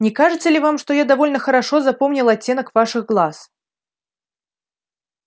не кажется ли вам что я довольно хорошо запомнил оттенок ваших глаз